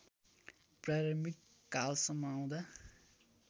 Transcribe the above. प्रारम्भिक कालसम्म आउँदा